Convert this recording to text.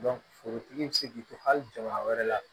forotigi bi se k'i to hali jama wɛrɛ la